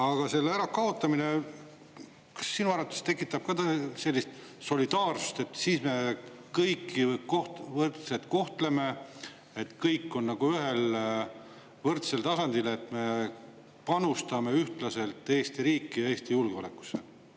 Aga kas selle ärakaotamine sinu arvates tekitab ka sellist solidaarsust, et siis me kõiki võrdselt kohtleme, et kõik on ühel võrdsel tasandil, et me panustame ühtlaselt Eesti riiki ja Eesti julgeolekusse?